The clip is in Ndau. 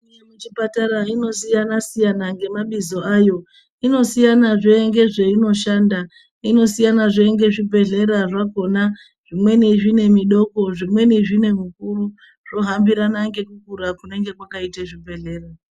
Chipatara ino siyana siyana ngemabizo ayo, inosiyana zve nezvayinoshanda. Inosiyana zve ngezvibhedleya zvakona, zvimweni zvine midoko ,zvimweni zvinemukuru. zvohambirana ngekukura kunenge kwakaite zvibhedhlera.